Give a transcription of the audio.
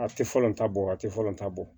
A tɛ falen ta bɔ a tɛ falen ta bɔ